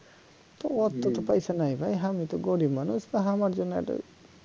তো অত তো পয়সা নাই আমি তো গরীব মানুষ তো আমার জন্য একটু